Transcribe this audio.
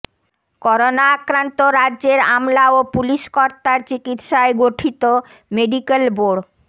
corona আক্রান্ত রাজ্যের আমলা ও পুলিশকর্তার চিকিৎসায় গঠিত মেডিক্যাল বোর্ড